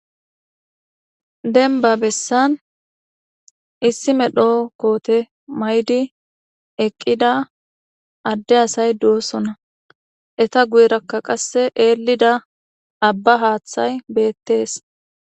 Dembba bessan issi medho koote mayidi eqqida adde asay doosona. Eta guyera qasse eellida Abba haathay beettees.